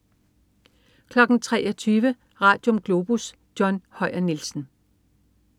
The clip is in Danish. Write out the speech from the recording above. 23.00 Radium. Globus. John Høyer Nielsen